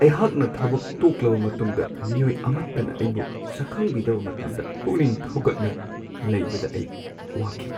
ꯑꯩꯍꯥꯛꯅ ꯊꯕꯛ ꯇꯣꯛꯂꯕ ꯃꯇꯨꯡꯗ ꯃꯤꯑꯣꯏ ꯑꯃꯠꯇꯅ ꯑꯩꯕꯨ ꯁꯛꯈꯪꯕꯤꯗꯕ ꯃꯇꯝꯗ ꯄꯨꯛꯅꯤꯡ ꯊꯧꯒꯠꯅ ꯂꯩꯕꯗ ꯑꯩ ꯋꯥꯈꯤ꯫